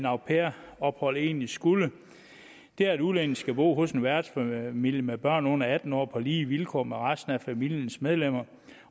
au pair ophold egentlig skulle at det handler om at udlændingen skal bo hos en værtsfamilie med børn under atten år på lige vilkår med resten af familiens medlemmer